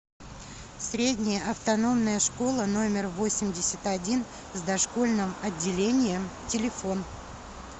средняя автономная школа номер восемьдесят один с дошкольным отделением телефон